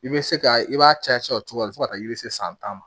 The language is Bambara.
I bɛ se ka i b'a caya o cogoya fɔ ka taa yiri se san tan ma